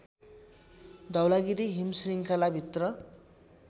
धौलागिरी हिमश्रृङ्खला भित्र